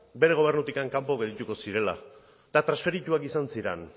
bere gobernutik kanpo geldituko zirela eta transferituak izan ziren